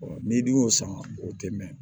n'i dun y'o san o tɛ mɛn